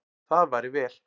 Það væri vel.